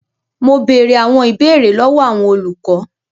Mo bèrè àwọn ìbéèrè lọwọ àwọn olùkọ.